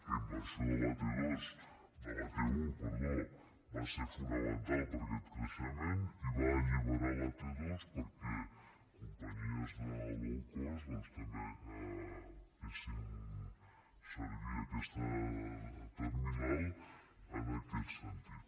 la inversió de la t1 va ser fonamental per a aquest creixement i va alliberar la t2 perquè companyies de low cost doncs també fessin servir aquesta terminal en aquest sentit